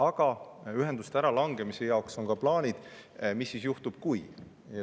Aga ühenduste äralangemise puhuks on ka plaanid, mis siis juhtub, kui ...